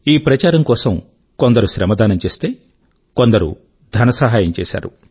ఈ ప్రచారం కోసం కొందరు శ్రమదానం చేస్తే కొందరు ధన సహాయం చేశారు